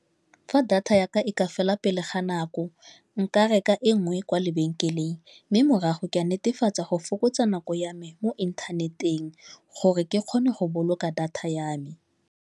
Fa data yaka e ka fela pele ga nako nka reka e nngwe kwa lebenkeleng mme morago ke netefatsa go fokotsa nako ya me mo inthaneteng gore ke kgone go boloka data ya me.